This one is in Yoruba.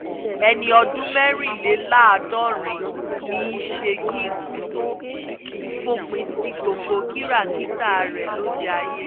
ẹni ọdún mẹ́rìnléláàádọ́rin ní í ṣe kí ikú tóó fòpin sí gbogbo kìràkìtà rẹ lóde ayé